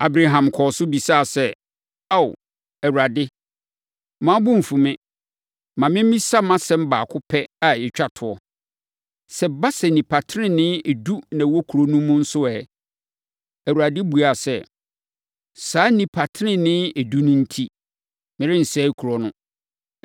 Abraham kɔɔ so bisaa sɛ, “Ao, Awurade, mma wo bo mfu me; ma memmisa mʼasɛm baako pɛ a ɛtwa toɔ. Sɛ ɛba sɛ, nnipa tenenee edu na wɔwɔ kuro no mu nso ɛ?” Awurade buaa sɛ, “Saa nnipa tenenee edu no enti, merensɛe kuro no.”